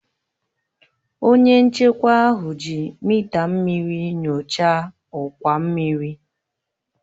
Onye nchekwa ahụ ji mịta mmiri nyochaa ọkwa mmiri